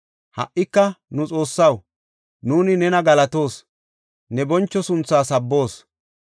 Ha77ika nu Xoossaw, nuuni nena galatoos; ne boncho sunthaa sabboos.